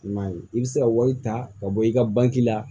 I m'a ye i bɛ se ka wari ta ka bɔ i ka bangi la